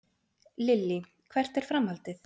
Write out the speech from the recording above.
Lillý: Hvert er framhaldið?